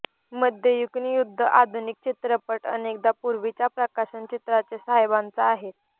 मध्ययुगीन युद्ध आधुनिक चित्रपट अनेकदा पूर्वीच्या प्रकाशन चित्राचे साहेबांचा आहेत